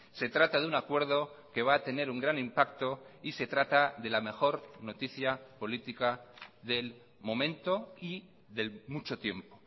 se trata de un acuerdo que va a tener un gran impacto y se trata de la mejor noticia política del momento y de mucho tiempo